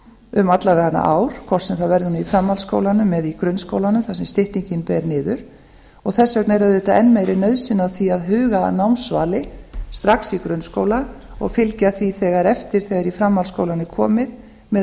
um alla vega ár hvort sem það verður í framhaldsskóla eða grunnskólanum þar sem styttingu ber niður og þess vegna er auðvitað enn meiri nauðsyn á því að huga að námsvali strax í grunnskóla og fylgja því þegar eftir þegar í framhaldsskólann er komið með